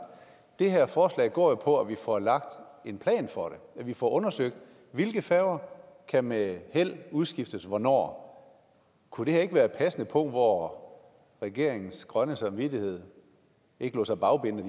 det her forslag går jo på at vi får lagt en plan for det at vi får undersøgt hvilke færger der med held kan udskiftes hvornår kunne det her ikke være et passende punkt hvor regeringens grønne samvittighed ikke lod sig bagbinde